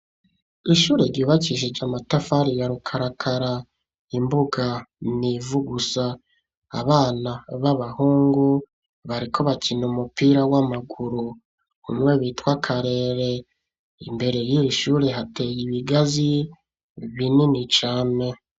Ishure, ryubakishije amatafari, ya rukarakara; imbuga ni ivu gusa; abana b'abahungu, bariko bakina umupira, w'amaguru, umwe bitwa Karere; imbere y'iri shure, hateye ibigazi, binini cane.